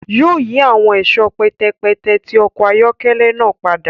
Yóò yì awọn ẹṣọ pẹtẹpẹtẹ ti ọkọ ayọkẹlẹ náà pada